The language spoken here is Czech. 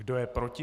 Kdo je proti?